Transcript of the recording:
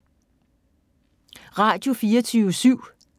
Radio24syv